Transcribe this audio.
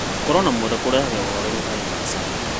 Gũkorwo na mwendwa kũrehaga ũhoreru harĩ maica.